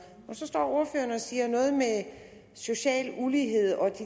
og så står ordføreren og siger noget med social ulighed og